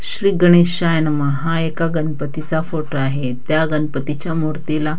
श्री गणेशाय नमः हा एका गणपतीचा फोटो आहे त्या गणपतीच्या मूर्तीला --